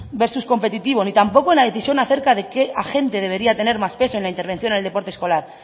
versus competitivo ni tampoco en la decisión acerca de qué agente debería tener más peso en la intervención en el deporte escolar